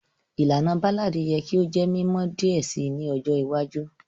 Ìlànà Ballad yẹ ki o jẹ mimọ diẹ sii ni ọjọ iwájú